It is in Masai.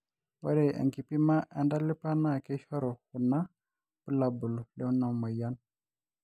ore enkipima entalipa na keishoru kuna bulabul lenamoyian